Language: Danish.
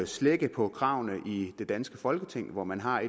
slække på kravene i det danske folketing hvor man har